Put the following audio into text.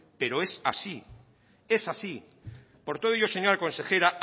pero es así por todo ello señora consejera